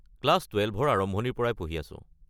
Class টুৱেলভৰ আৰম্ভণিৰ পৰাই পঢ়ি আছো।